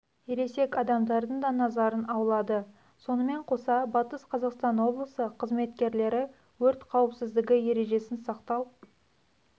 ересек адамдардың да назарын аулады сонымен қоса батыс қазақстан облысы қызметкерлері өрт қауіпсіздігі ережесін сақтау